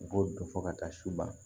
U b'o don fo ka taa su ban